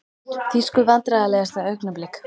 Þýsku Vandræðalegasta augnablik?